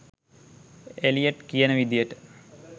Elliot කියන විදිහට